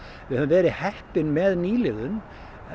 við höfum verið heppin með nýliðun